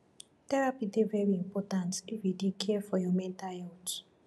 therapy dey very important if you dey care for your mental healt